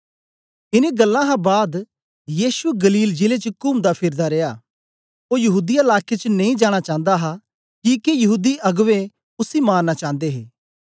इनें गल्लां हा बाद यीशु गलील जिले च कुमदा फिरदा रिया ओ यहूदीया लाके च नेई जाना चांदा हा किके यहूदी अगबें उसी मारना चांदे हे